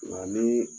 Nka ni